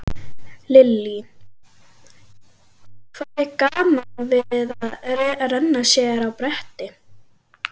Lillý: Hvað er gaman við að renna sér á bretti?